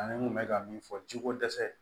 Ani n kun bɛ ka min fɔ jiko dɛsɛ